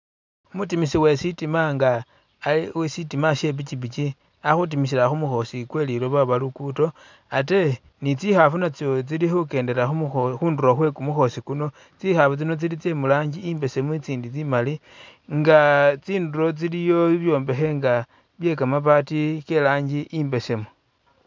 Umutimisi wesitima nga khe uwesitima shepikipiki ali khutimisila khumukhoosi kwe lilooba oba lugudo ate tsikhaafu natso tsili khukendela khumukho.. khundulo khwekumukhoosi kuno, tsikhaafu tsino tsili tsemurangi i'mbesemu i'tsindi tsimali nga tsindulo tsiliyo bibyombekhe bye'kamabati ke'rangi i'mbesemu